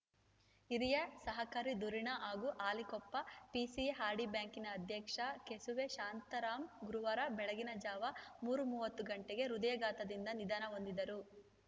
ಹಿರಿಯ ಸಹಕಾರಿ ಧುರೀಣ ಹಾಗೂ ಹಾಲಿ ಕೊಪ್ಪ ಪಿಸಿಎಆರ್‌ಡಿ ಬ್ಯಾಂಕಿನ ಅಧ್ಯಕ್ಷ ಕೆಸುವೆ ಶಾಂತರಾಮ್‌ ಗುರುವಾರ ಬೆಳಗಿನ ಜಾವ ಮೂರು ಮೂವತ್ತು ಗಂಟೆಗೆ ಹೃದಯಾಘಾತದಿಂದ ನಿಧನ ಹೊಂದಿದರು